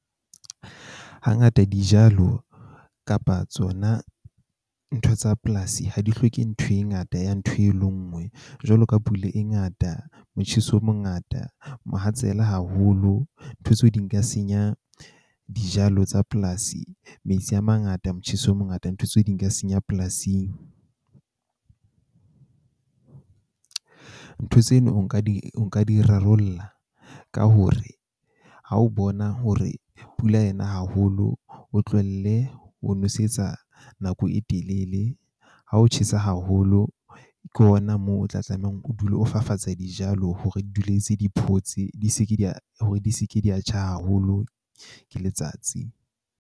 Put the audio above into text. Hangata dijalo kapa tsona ntho tsa polasi ha di hloke ntho e ngata ya ntho e le nngwe. Jwalo ka pula e ngata, motjheso o mongata, mohatsela haholo. Ntho tseo di nka senya dijalo tsa polasi. Metsi a mangata motjheso o mongata. Ntho tse di ka senya polasing. Ntho tseno o nka di o nka di rarollla ka hore ha o bona hore pula ena haholo, o tlohelle ho nwesetsa nako e telele. Ha o tjhesa haholo, ke hona moo o tla tlamehang o dule o fafatsa dijalo hore di dule di ntse di photse, di seke di a hore di seke di a tjha haholo ke letsatsi.